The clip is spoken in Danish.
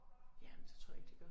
Ja men det tror jeg ikke de gør